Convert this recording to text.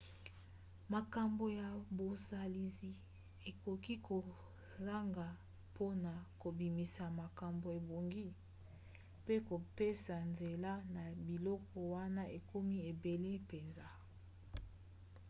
makambo ya bozalisi ekoki kosangana mpona kobimisa makambo ebongi mpe kopesa nzela na biloko wana ekomi ebele mpenza